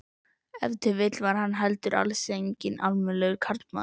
Ef til vill var hann heldur alls ekki almennilegur karlmaður.